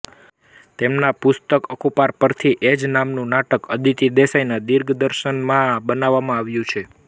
તેમના પુસ્તક અકૂપાર પરથી એ જ નામનું નાટક અદિતિ દેસાઈના દિગ્દર્શનમાં બનાવવામાં આવ્યું છે